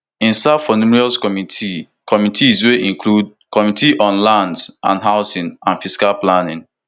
e serve for numerous committees committees wey include committee on lands and housing and physical planning